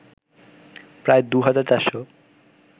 প্রায় ২ হাজার ৪ শ